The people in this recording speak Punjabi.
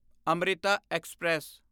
ਅਮ੍ਰਿਤਾ ਐਕਸਪ੍ਰੈਸ